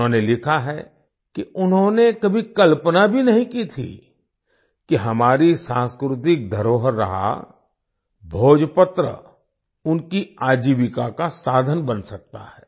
उन्होंने लिखा है कि उन्होंने कभी कल्पना भी नहीं की थी कि हमारी सांस्कृतिक धरोहर रहा भोजपत्र उनकी आजीविका का साधन बन सकता है